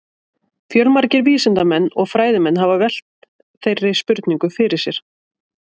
Fjölmargir vísindamenn og fræðimenn hafa velt þeirri spurningu fyrir sér.